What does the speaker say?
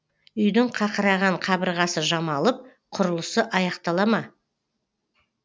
үйдің қақыраған қабырғасы жамалып құрлысы аяқтала ма